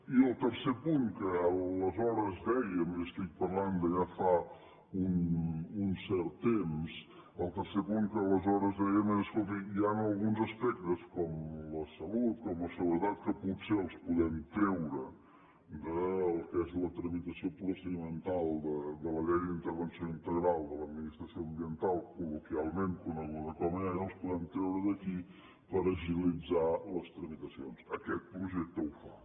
i el tercer punt que aleshores dèiem i estic parlant de ja fa un cert temps el tercer punt que aleshores dèiem és escolti hi han alguns aspectes com la salut la seguretat que potser els podem treure del que és la tramitació procedimental de la llei d’intervenció integral de l’administració ambiental col·loquialment coneguda com liiaa els podem treure d’aquí per agilitzar les tramitacions aquest projecte ho fa